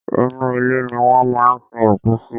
Inú ilẹ̀ ni wọ́n máa ń sin òkú sí.